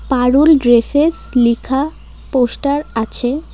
পারুল dresses লিখা poster আছে।